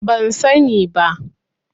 Ban sani ba.